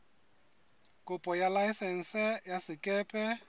kopo ya laesense ya sekepe